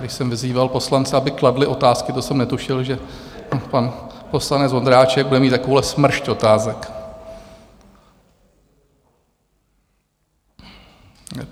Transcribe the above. Když jsem vyzýval poslance, aby kladli otázky, to jsem netušil, že pan poslanec Vondráček bude mít takovouhle smršť otázek.